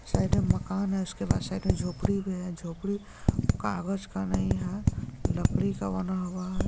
Side में मकान है उसके बाद साइड में झोपडी भी है। झोपड़ी काग़ज़ का नहीं है लकड़ी का बना हुआ।